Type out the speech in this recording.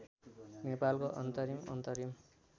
नेपालको अन्तरिम अन्तरिम